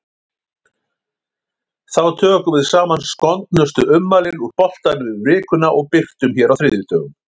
Þá tökum við saman skondnustu ummælin úr boltanum yfir vikuna og birtum hér á þriðjudögum.